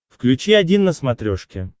включи один на смотрешке